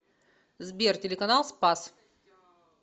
сбер телеканал спас